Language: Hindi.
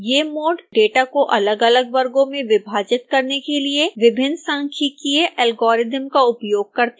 ये मोड डेटा को अलगअलग वर्गों में विभाजित करने के लिए विभिन्न सांख्यिकीय एल्गोरिदम का उपयोग करते हैं